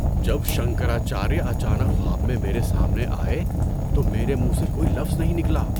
جب شنکراچاریہ اچانک خواب میں میرے سامنے آئے تو میرے منھ سے کوئی لفظ نہیں نکلا۔